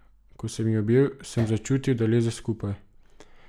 Ko sem jo objel, sem začutil, da leze skupaj.